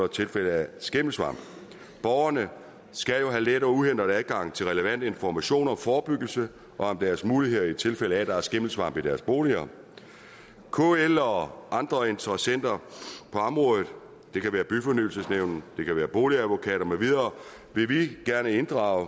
tilfælde af skimmelsvamp borgerne skal jo have let og uhindret adgang til relevant information om forebyggelse og om deres muligheder i tilfælde af at der er skimmelsvamp i deres boliger kl og andre interessenter på området det kan være byfornyelsesnævn det kan være boligadvokater med videre vil vi gerne inddrage